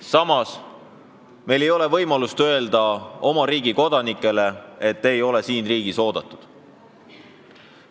Samas me ei tohi öelda oma riigi kodanikele, et te ei ole siin riigis oodatud.